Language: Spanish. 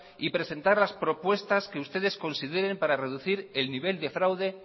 y presentar las propuestas que ustedes consideren para reducir el nivel de fraude